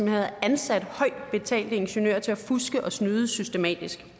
havde ansat højt betalte ingeniører til at fuske og snyde systematisk